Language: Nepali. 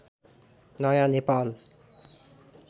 नयाँ नेपाल